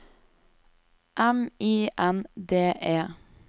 M I N D E